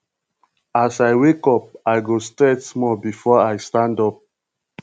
as i wake up i go stretch small before i stand up